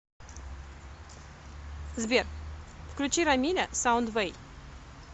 сбер включи рамиля саундвэй